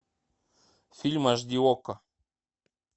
фильм аш ди окко